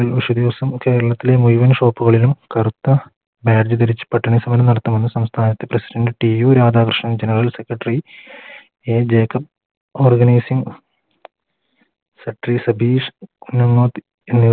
വിഷു ദിവസം കേരളത്തിലെ മുഴുവൻ Shop കളിലും കറുത്ത Badge ധരിച്ച് പട്ടിണി സമരം നടത്തണമെന്ന് സംസ്ഥാനത്ത് PresidentTU Radhakrishna General secretaryA Jacob Organising Satheesh